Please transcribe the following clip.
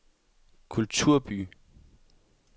kulturby